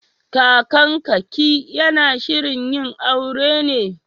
Kakanka/ki yana shirin yin aure ne?